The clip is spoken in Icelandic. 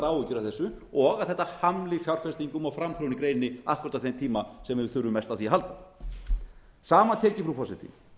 áhyggjur af þessu og að þetta hamli fjárfestingum og framþróun í greininni akkúrat á þeim tíma sem við þurfum mest á því að halda samantekið frú forseti